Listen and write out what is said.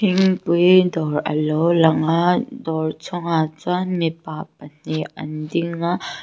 thingpui dawr alo lang a dawr chungah chuan mipa pahin anding a--